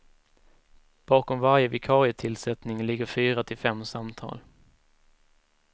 Bakom varje vikarietillsättning ligger fyra till fem samtal.